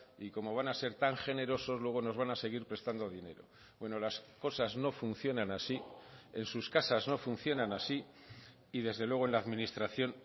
y como van a ser tan generosos luego nos van a seguir prestando dinero bueno las cosas no funcionan así en sus casas no funcionan así y desde luego en la administración